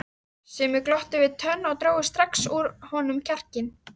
Sumir glottu við tönn og drógu strax úr honum kjarkinn.